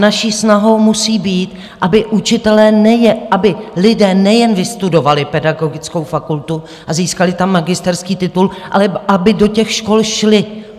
Naší snahou musí být, aby lidé nejen vystudovali pedagogickou fakultu a získali tam magisterský titul, ale aby do těch škol šli.